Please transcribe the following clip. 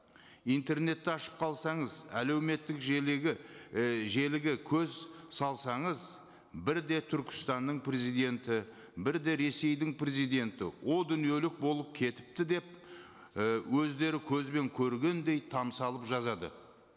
интернетті ашып қалсаңыз әлеуметтік і желіге көз салсаңыз бірде түркістанның президенті бірде ресейдің президенті о дүниелік болып кетіпті деп і өздері көзбен көргендей жазады